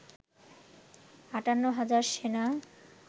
৫৮ হাজার সেনা